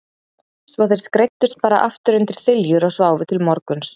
Svo þeir skreiddust bara aftur undir þiljur og sváfu til morguns.